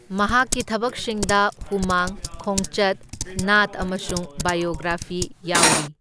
ꯃꯍꯥꯛꯀꯤ ꯊꯕꯛꯁꯤꯡꯗ ꯍꯨꯃꯥꯡ, ꯈꯣꯡꯆꯠ, ꯅꯥꯠ ꯑꯃꯁꯨꯡ ꯕꯥꯏꯑꯣꯒ꯭ꯔꯥꯐꯤ ꯌꯥꯎꯔꯤ꯫